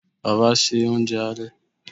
baba se ounjẹ ale?